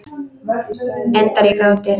Endar í gráti.